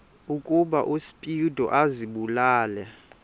ukuba uspido azibulale